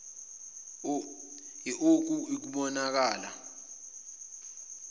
l oku kubonakala